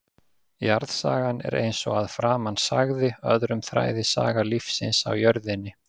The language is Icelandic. Jarðsagan er, eins og að framan sagði, öðrum þræði saga lífsins á jörðinni.